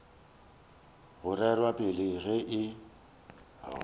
go rerwa pele ge e